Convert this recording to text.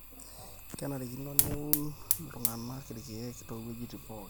kenarikino neun iltung'anak ilkeek towejitin pookin